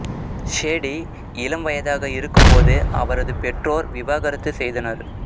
Sadie இளம் வயதாக இருக்கும் போது அவரது பெற்றோர் விவாகரத்து செய்தனர்